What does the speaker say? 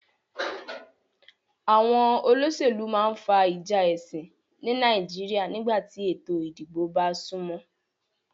Àwon olósèlú ma n fa ìjà èsìn ni Naijiria nígbàtí ètò ìdibò ba súnmó